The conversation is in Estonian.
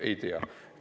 Ei tea.